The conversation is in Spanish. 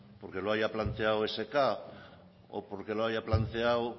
porque lo haya planteado esk o porque lo haya planteado